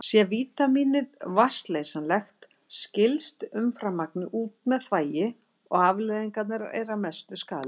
Sé vítamínið vatnsleysanlegt skilst umframmagnið út með þvagi og afleiðingarnar eru að mestu skaðlausar.